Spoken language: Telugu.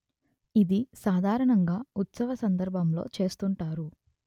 ఇది సాధారణంగా ఉత్సవ సందర్భంలో చేస్తుంటారు